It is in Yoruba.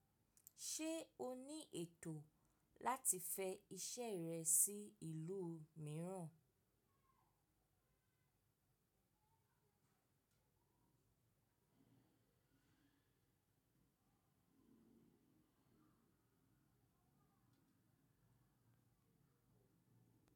Ṣe o ni eto lati fẹ iṣẹ rẹ si ilu miiran?